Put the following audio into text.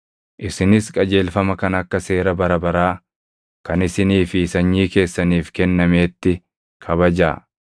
“Isinis qajeelfama kana akka seera bara baraa kan isinii fi sanyii keessaniif kennameetti kabajaa.